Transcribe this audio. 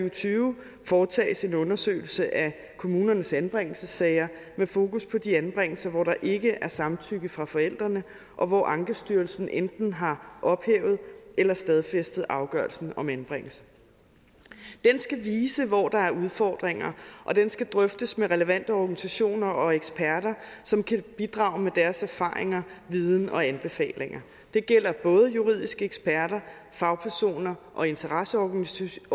og tyve foretages en undersøgelse af kommunernes anbringelsessager med fokus på de anbringelser hvor der ikke er samtykke fra forældrene og hvor ankestyrelsen enten har ophævet eller stadfæstet afgørelsen om anbringelse den skal vise hvor der er udfordringer og den skal drøftes med relevante organisationer og eksperter som kan bidrage med deres erfaringer viden og anbefalinger det gælder både juridiske eksperter fagpersoner og interesseorganisationer